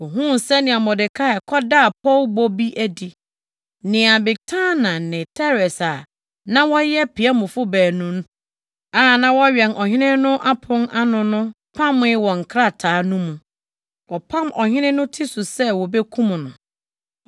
Ohuu sɛnea Mordekai kɔdaa pɔwbɔ bi adi, nea Bigtana ne Teres a na wɔyɛ piamfo baanu a na wɔwɛn ɔhene no apon ano no pamee wɔ nkrataa no mu. Wɔpam ɔhene no ti so sɛ wobekum no.